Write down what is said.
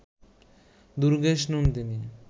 Durgeshnandini